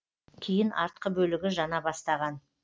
кейін артқы бөлігі жана бастаған